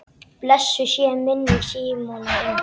Blessuð sé minning Símonar Inga.